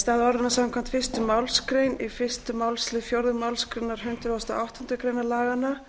stað orðanna samkvæmt fyrstu málsgrein í fyrsta málsl fjórðu málsgrein hundrað og áttundu grein laganna